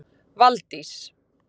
Valdís